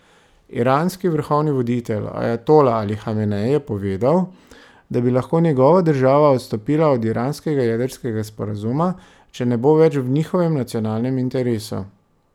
Iranski vrhovni voditelj, ajatola Ali Hamenej je povedal, da bi lahko njegova država odstopila od iranskega jedrskega sporazuma, če ne bo več v njihovem nacionalnem interesu.